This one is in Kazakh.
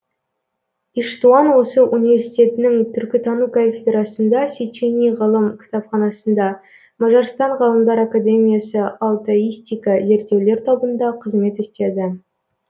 иштуан осы университетінің түркітану кафедрасында сечени ғылым кітапханасында мажарстан ғалымдар академиясы алтаистика зерттеулер тобында қызмет істеді